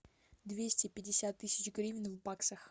двести пятьдесят тысяч гривен в баксах